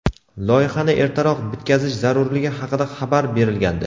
loyihani ertaroq bitkazish zarurligi haqida xabar berilgandi.